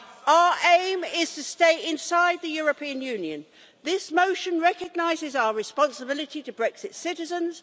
Our aim is to stay inside the European Union. This motion recognises our responsibility to Brexit's citizens.